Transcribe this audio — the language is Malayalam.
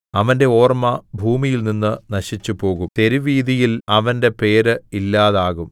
അവന്റെ ഓർമ്മ ഭൂമിയിൽനിന്ന് നശിച്ചുപോകും തെരുവീഥിയിൽ അവന്റെ പേര് ഇല്ലാതാകും